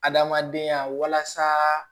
Adamadenya walasa